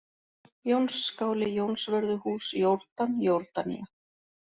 Jónsskáli, Jónsvörðuhús, Jórdan, Jórdanía